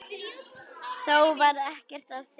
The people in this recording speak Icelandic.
Þó varð ekkert af því.